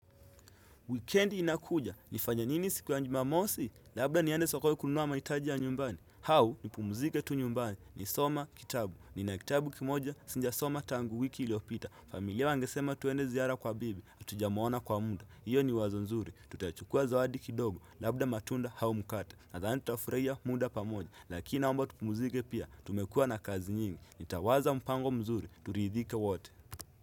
Wikendi inakuja, nifanye nini siku ya jumamosi, labda niende sokoni kununuwa mahitaji ya nyumbani hau ni pumuzike tu nyumbani, ni some kitabu, ni na kitabu kimoja sija soma tangu wiki iliopita familia wangesema tuende ziara kwa bibi, atujamuona kwa muda, hiyo ni wazo zuri Tutachukua zawadi kidogo, labda matunda au mkata, na zani tafuraia muda pamoja Lakina naomba tupumuzike pia, tumekua na kazi nyingi, nitawaza mpango mzuri, turidhike wote.